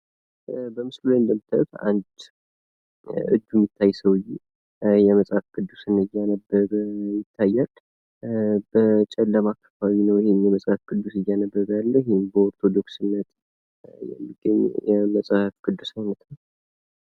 በምስሉ ላይ እንደምታዩት አንድ እጁ የሚታይ ሰውዬ የመጽሐፍ ቅዱስን እያነበበ ይታያል። በጨለማ ክፍል ነው ይህን የመጽሐፍ ቅዱስን እያነበበ ያለው ይህም በ ኦርቶዶክስ እምነት የሚገኝ የመጽሐፍ ቅዱስ ነው።